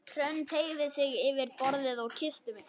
Hrönn teygði sig yfir borðið og kyssti mig.